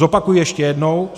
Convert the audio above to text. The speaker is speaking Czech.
Zopakuji ještě jednou.